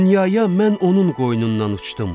Dünyaya mən onun qoynundan uçdum.